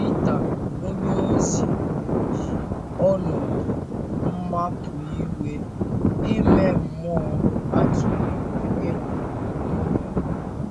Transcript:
Pita onyeozi ji ọnọdụ mmapụ iwu ime mmụọ a tụnyere ịnọ “ n’ụlọ mkpọrọ. ”.”